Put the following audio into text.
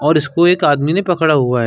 और इसको एक आदमी ने पकड़ा हुआ है।